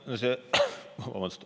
Aitäh!